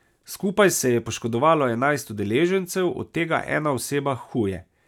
Skupaj se je poškodovalo enajst udeležencev, od tega ena oseba huje.